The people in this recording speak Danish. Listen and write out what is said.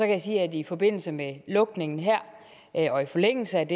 jeg sige at i forbindelse med lukningen her og i forlængelse af